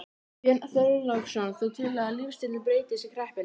Björn Þorláksson: Þú telur að lífstíllinn breytist í kreppunni?